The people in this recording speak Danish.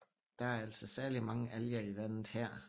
Der er altså særligt mange alger i vandet her